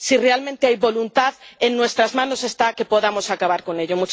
Si realmente hay voluntad, en nuestras manos está que podamos acabar con ello.